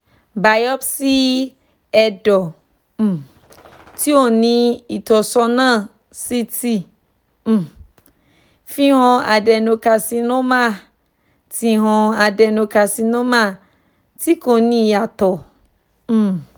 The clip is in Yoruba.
biopsy ẹdọ um ti o ni itọsọna ct um fi han adenocarcinoma ti han adenocarcinoma ti ko ni iyatọ um